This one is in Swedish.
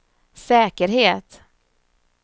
säkerhet